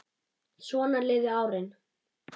Svona liðu árin.